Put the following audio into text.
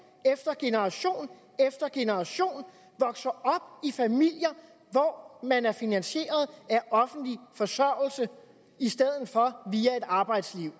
efter generation efter generation vokser op i familier hvor man er finansieret af offentlig forsørgelse i stedet for via et arbejdsliv